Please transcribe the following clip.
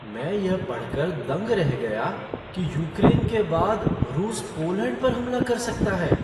मैं यह पढ़कर दंग रह गया कि यूक्रेन के बाद रूस पोलैंड पर हमला कर सकता है।